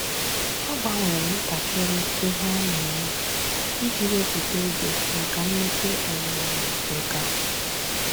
Ọ́ gbanwere ntakịrị ihe ọ́ nà-ème iji wèpụ́tá oge màkà mmepe um nkà.